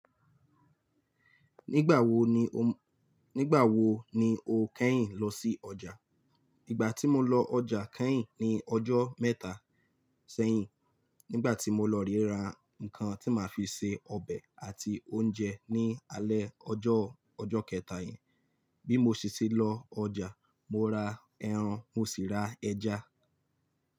Nígbà wo ni o, nígbà wo ni o kẹ́yìn lọ sí ọjà? Ìgbà tí mo lọ ọjà kẹ́yìn ni ọjọ́ mẹ́ta sẹ́yìn nígbà tí mo lọ re ra nǹkan tí màá fi ṣe ọbẹ̀ àti oúnjẹ ní alẹ́ ọjọ́, ọjọ́ kẹ̀ta yẹn. Bí mo ṣi ti lọ ọjà mo ra ẹran, mo sì ra ẹja.